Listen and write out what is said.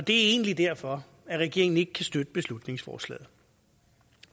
det er egentlig derfor at regeringen ikke kan støtte beslutningsforslaget